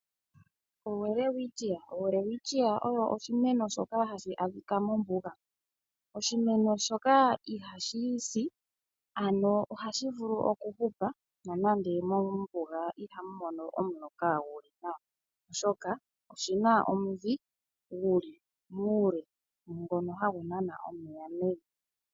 OWelwitschia, oWelwitschia oyo oshimeno shoka hashi adhika mombuga, oshimeno shoka iha shi si, ano ohashi vulu oku hupa nonande mombuga ihamu mono omuloka guli nawa, oshoka oshina omudhi guli muule ngono hagu nana omeya mevi.